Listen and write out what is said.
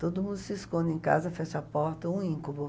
Todo mundo se esconde em casa, fecha a porta, um íncubo.